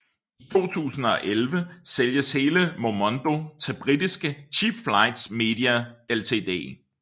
I 2011 sælges hele Momondo til britiske Cheapflights Media Ltd